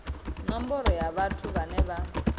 nomboro ya vhathu vhane vha